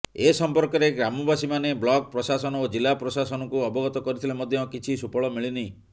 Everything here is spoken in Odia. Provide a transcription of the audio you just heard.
ଏ ସମ୍ପର୍କରେ ଗ୍ରାମବାସୀମାନେ ବ୍ଲକ୍ ପ୍ରଶାସନ ଓ ଜିଲ୍ଲା ପ୍ରଶାସନକୁ ଅବଗତ କରିଥିଲେ ମଧ୍ୟ କିଛି ସୁଫଳ ମିଳିନି